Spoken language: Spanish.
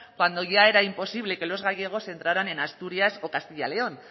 cuando ya era imposible que los gallegos entraran en asturias o castilla y león